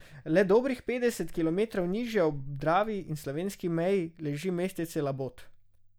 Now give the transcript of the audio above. Le dobrih petdeset kilometrov nižje, ob Dravi in slovenski meji, leži mestece Labot.